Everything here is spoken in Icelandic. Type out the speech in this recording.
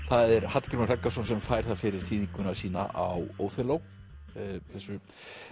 það er Hallgrímur Helgason sem fær það fyrir þýðinguna sína á Óþelló þessu